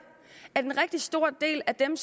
at en rigtig stor del af dem